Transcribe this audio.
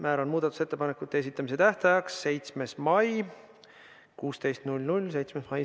Määran muudatusettepanekute esitamise tähtajaks 7. mai kell 16.